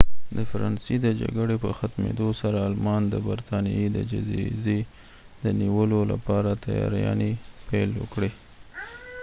د فرانسې د جګړې په ختمیدو سره آلمان د برطانیې د جزیزې د نیولو لپاره تیاریانې پیل کړې